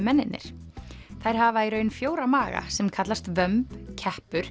mennirnir þær hafa í raun fjóra maga sem kallast vömb